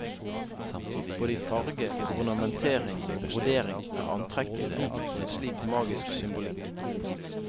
Både i farge, ornamentering og brodering er antrekket rikt på en slik magisk symbolikk.